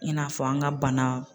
I n'a fɔ an ka bana.